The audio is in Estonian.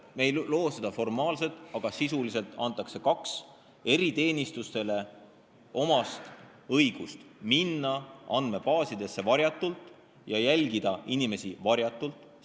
Me ei loo seda formaalselt, aga sisuliselt antakse juurde kaks eriteenistustele omast õigust: minna varjatult andmebaasidesse ja inimesi varjatult jälgida.